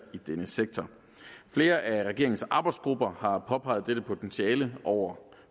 i denne sektor flere af regeringens arbejdsgrupper har påpeget dette potentiale over